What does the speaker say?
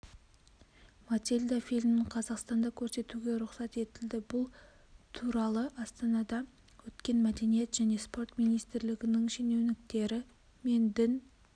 матильда фильмін қазақстанда көрсетуге рұқсат етілді бұл туралыастанада өткен мәдениет және спорт министрлігінің шенеуніктері мен дін